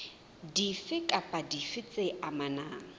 dife kapa dife tse amanang